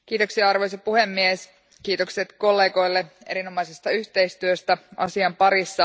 Arvoisa puhemies, kiitokset kollegoille erinomaisesta yhteistyöstä asian parissa.